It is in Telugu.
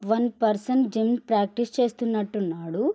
వన్ పర్సన్ జిమ్ ప్రాక్టీస్ చేస్తునట్టు ఉన్నాడు.